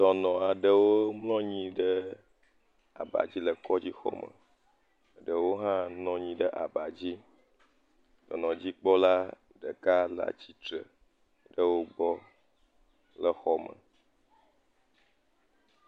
Dɔnɔ aɖewo mlɔnyi ɖe abadzi le kɔdzi xɔme, ɖewo hã nɔnyi ɖe abadzi, dɔnɔ dzikpɔla ɖe le atsitre ɖe wo gbɔ, le xɔme.